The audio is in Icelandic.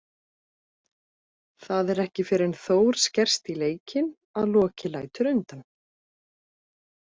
Það er ekki fyrr en Þór skerst í leikinn að Loki lætur undan.